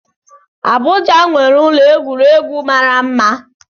Abuja nwere ụlọ egwuregwu mara mma